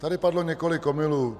Tady padlo několik omylů.